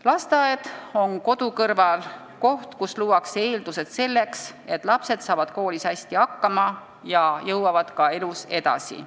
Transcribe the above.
Lasteaed on kodu kõrval koht, kus luuakse eeldused selleks, et lapsed saavad koolis hästi hakkama ja jõuavad ka elus edasi.